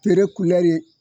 Tere ye